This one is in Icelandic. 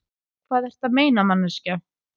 Hvað ertu að meina, manneskja?